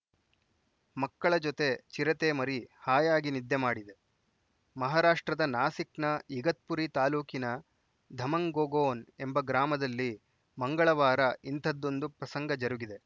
ಮಕ್ಕಳ ಜೊತೆ ಚಿರತೆ ಮರಿ ಹಾಯಾಗಿ ನಿದ್ದೆ ಮಾಡಿದೆ ಮಹಾರಾಷ್ಟ್ರದ ನಾಸಿಕ್‌ನ ಇಗತ್ಪುರಿ ತಾಲೂಕಿನ ಧಮಂಗೋಗೊನ್‌ ಎಂಬ ಗ್ರಾಮದಲ್ಲಿ ಮಂಗಳವಾರ ಇಂಥದ್ದೊಂದು ಪ್ರಸಂಗ ಜರುಗಿದೆ